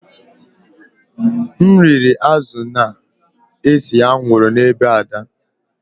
M riri azụ̀ na-ese anwụrụ n’ebe Ada